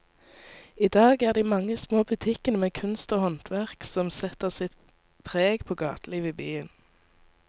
I dag er det de mange små butikkene med kunst og håndverk som setter sitt preg på gatelivet i byen.